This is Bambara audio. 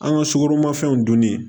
An ka sukoromafɛnw donni